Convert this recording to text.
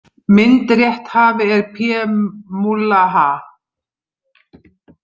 Myndrétthafi er PMullahaa.